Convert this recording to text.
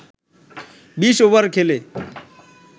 ২০ over খেলে